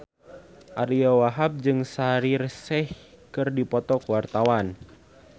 Ariyo Wahab jeung Shaheer Sheikh keur dipoto ku wartawan